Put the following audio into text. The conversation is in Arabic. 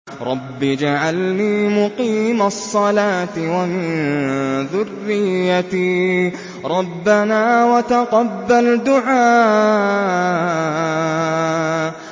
رَبِّ اجْعَلْنِي مُقِيمَ الصَّلَاةِ وَمِن ذُرِّيَّتِي ۚ رَبَّنَا وَتَقَبَّلْ دُعَاءِ